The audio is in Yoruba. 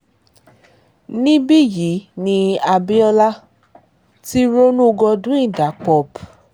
níbí yìí ni abiola ti ronú godwin dabop